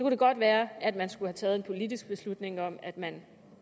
det godt være at man skulle have taget en politisk beslutning om at man